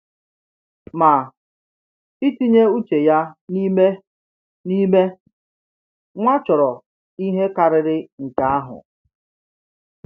Ma, itinye uche ya n’ime n’ime nwa chọrọ ihe karịrị nke ahụ.